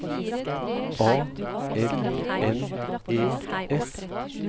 A L N E S